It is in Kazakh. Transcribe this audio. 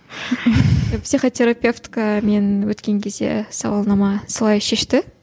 психотерапевтікі мен өткен кезде сауалнама солай шешті